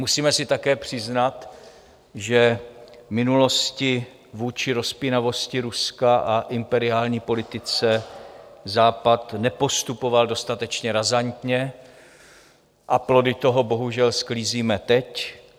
Musíme si také přiznat, že v minulosti vůči rozpínavosti Ruska a imperiální politice Západ nepostupoval dostatečně razantně, a plody toho bohužel sklízíme teď.